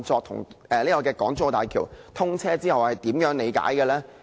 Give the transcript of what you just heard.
有關該系統在港珠澳大橋通車後的資料？